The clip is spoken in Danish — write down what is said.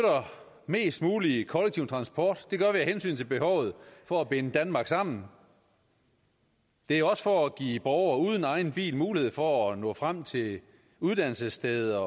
mest mulig kollektiv transport det gør vi af hensyn til behovet for at binde danmark sammen det er også for at give borgere uden egen bil mulighed for at nå frem til uddannelsessteder